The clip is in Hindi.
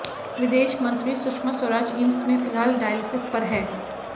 विदेश मंत्री सुषमा स्वराज एम्स में फिलहाल डायलिसिस पर है